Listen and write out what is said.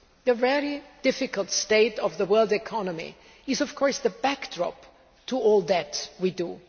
The very difficult state of the world economy is of course the backdrop to all that we do.